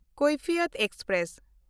Kaifiyat express